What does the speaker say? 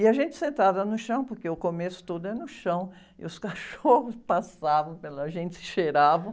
E a gente sentava no chão, porque o começo todo é no chão, e os cachorros passavam pela gente, cheiravam.